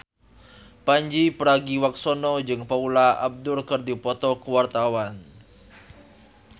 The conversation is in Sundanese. Pandji Pragiwaksono jeung Paula Abdul keur dipoto ku wartawan